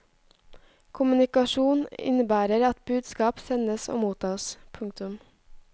Kommunikasjon innebærer at budskap sendes og mottas. punktum